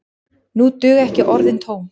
Nú duga ekki orðin tóm.